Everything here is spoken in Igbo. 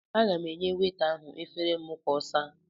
Aga m enye weta ahụ efere m ka ọ saa.